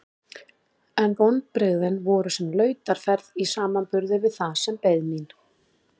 En vonbrigðin voru sem lautarferð í samanburði við það sem beið mín.